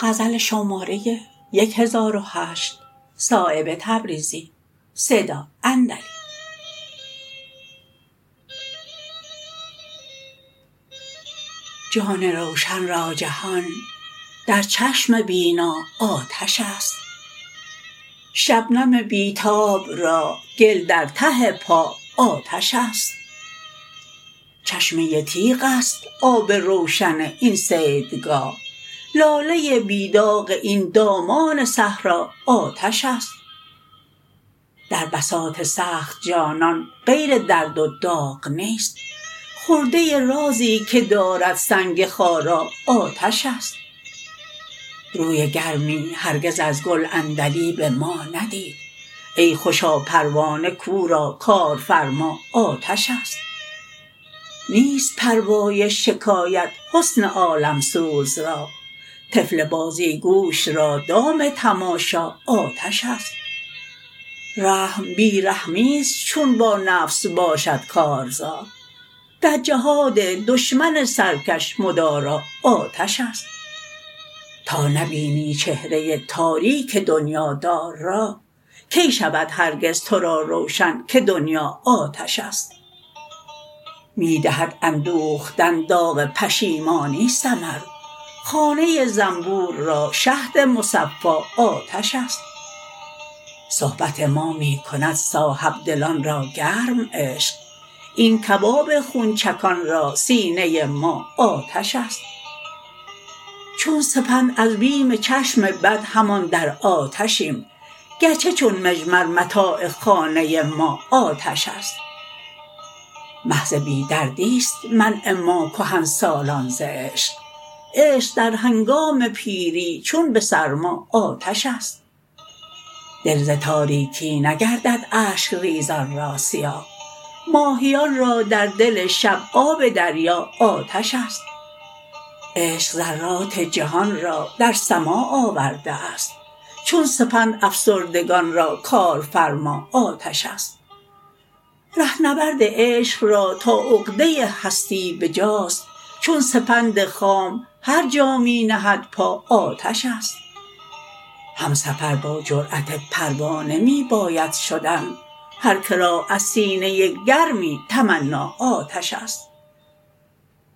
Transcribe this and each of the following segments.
جان روشن را جهان در چشم بینا آتش است شبنم بی تاب را گل در ته پا آتش است چشمه تیغ است آب روشن این صیدگاه لاله بی داغ این دامان صحرا آتش است در بساط سخت جانان غیر درد و داغ نیست خرده رازی که دارد سنگ خارا آتش است روی گرمی هرگز از گل عندلیب ما ندید ای خوشا پروانه کاورا کارفرما آتش است نیست پروای شکایت حسن عالمسوز را طفل بازیگوش را دام تماشا آتش است رحم بی رحمی است چون با نفس باشد کارزار در جهاد دشمن سرکش مدارا آتش است تا نبینی چهره تاریک دنیادار را کی شود هرگز ترا روشن که دنیا آتش است می دهد اندوختن داغ پشیمانی ثمر خانه زنبور را شهد مصفا آتش است صحبت ما می کند صاحبدلان را گرم عشق این کباب خونچکان را سینه ما آتش است چون سپند از بیم چشم بد همان را آتشیم گرچه چون مجمر متاع خانه ما آتش است محض بی دردی است منع ما کهنسالان ز عشق عشق در هنگام پیری چون به سرما آتش است دل ز تاریکی نگردد اشک ریزان را سیاه ماهیان را در دل شب آب دریا آتش است عشق ذرات جهان را در سماع آورده است چون سپند افسردگان را کارفرما آتش است رهنورد عشق را تا عقده هستی بجاست چون سپند خام هر جا می نهد پا آتش است همسفر با جرأت پروانه می باید شدن هر که را از سینه گرمی تمنا آتش است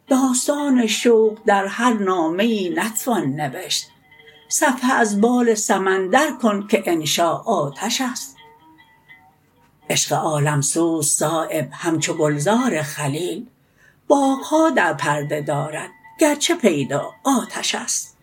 داستان شوق در هر نامه ای نتوان نوشت صفحه از بال سمندر کن که انشا آتش است عشق عالمسوز صایب همچو گلزار خلیل باغها در پرده دارد گرچه پیدا آتش است